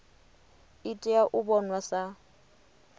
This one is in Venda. i tea u vhonwa sa